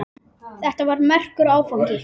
Þetta var merkur áfangi.